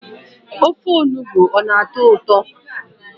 ofe akwukwo ka mma?